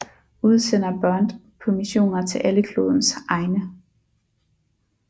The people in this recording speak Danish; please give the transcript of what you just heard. Udsender Bond på missioner til alle klodens egne